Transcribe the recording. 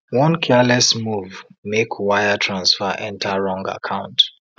one careless move make wire transfer enter wrong account